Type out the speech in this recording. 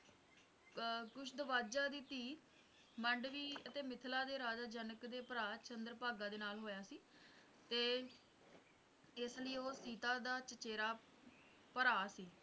ਅਹ Kushadhwaja ਦੀ ਧੀ ਮੰਡਵੀ ਅਤੇ ਮਿਥਿਲਾ ਦੇ ਰਾਜਾ ਜਨਕ ਦੇ ਭਰਾ ਚੰਦਰ ਭਾਗਾਂ ਦੇ ਨਾਲ ਹੋਇਆ ਸੀ ਤੇ ਇਸਲਈ ਉਹ ਸੀਤਾ ਦਾ ਚਚੇਰਾ ਭਰਾ ਸੀ